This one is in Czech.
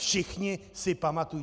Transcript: Všichni si pamatují...